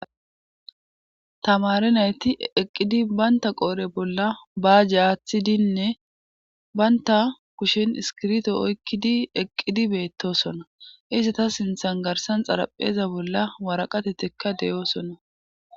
tamare nayti eqqidi baynta qoore bolla baajje aaththidinne baynta kushen iskirto oykkidi eqqidi beettosona izi ta sinthan garsan xarapheeza bolla waraqatetekka de7oosona